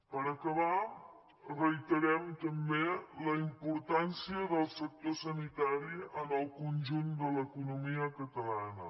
per acabar reiterem també la importància del sector sanitari en el conjunt de l’economia catalana